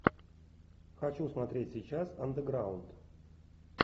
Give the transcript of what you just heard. хочу смотреть сейчас андеграунд